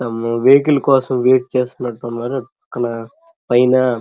vehicle కోసం wait చేస్తున్నట్టు ఉన్నారు అలా పైన --